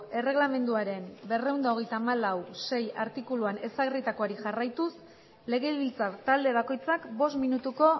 erregelamenduaren berrehun eta hogeita hamalau puntu sei artikuluan ezarritakoari jarraituz legebiltzar talde bakoitzak bost minutuko